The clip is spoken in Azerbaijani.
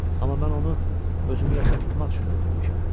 Amma mən onu özümü yaşatmaq üçün öldürmüşəm.